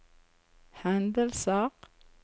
hendelser